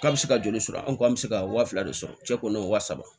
K'a bɛ se ka joli sɔrɔ an ko an bɛ se ka wa fila de sɔrɔ cɛ kɔni wa saba